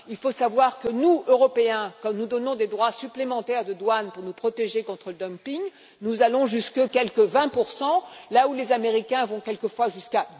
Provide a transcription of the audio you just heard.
Il faut savoir que nous, Européens, quand nous appliquons des droits supplémentaires de douane pour nous protéger contre le dumping, nous allons jusqu'à quelque 20 là où les Américains vont quelquefois jusqu'à